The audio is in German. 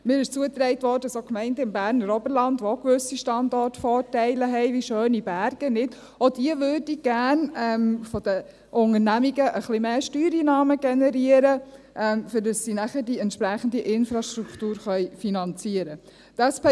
Es wurde mir zugetragen, dass auch Gemeinden im Berner Oberland, welche auch gewisse Standortvorteile haben – wie schöne Berge –, von den Unternehmungen ein bisschen mehr Steuereinnahmen generieren möchten, um die entsprechende Infrastruktur finanzieren zu können.